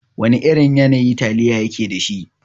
Wana irin yanayi taliya yake dashi?